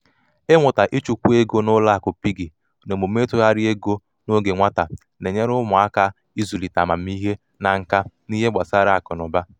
ịmụta ichukwa ego na ụlọ akụ piggi na omume ịtụgharị ego n’oge nwata na-enyere ụmụaka ịzụlite amamihe na nka n’ihe gbasara akụ na ụba.